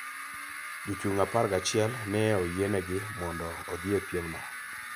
Jochung' apar gi achiel ne oyienegi mondo odhi e piemno.